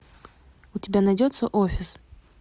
у тебя найдется офис